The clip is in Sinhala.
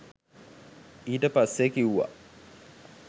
ඊට පස්සේ කිව්වා